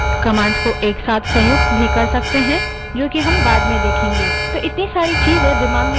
commands को एक साथ संयुक्त भी कर सकते हैं जो कि हम बाद में देखेंगे तो इतनी सारी चीज़ें हम दिमाग में कैसे रखें